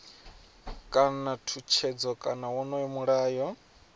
kana tshutshedzo kana wonoyo mulayo